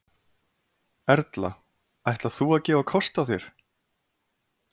Erla: Ætlar þú að gefa kost þér?